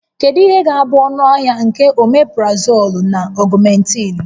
Kedu ihe ga-abụ ọnụahịa nke Omeprazoolu na Ọgụmentịịnụ?